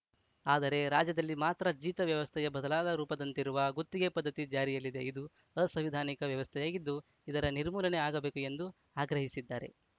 ಆದರೆ ರಾಜ್ಯದಲ್ಲಿ ಮಾತ್ರ ಜೀತ ವ್ಯವಸ್ಥೆಯ ಬದಲಾದ ರೂಪದಂತಿರುವ ಗುತ್ತಿಗೆ ಪದ್ಧತಿ ಜಾರಿಯಲ್ಲಿದೆ ಇದು ಅಸಂವಿಧಾನಿಕ ವ್ಯವಸ್ಥೆಯಾಗಿದ್ದು ಇದರ ನಿರ್ಮೂಲನೆ ಆಗಬೇಕು ಎಂದು ಆಗ್ರಹಿಸಿದ್ದಾರೆ